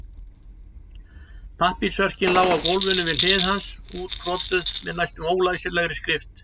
Pappírsörkin lá á gólfinu við hlið hans útkrotuð með næstum ólæsilegri skrift.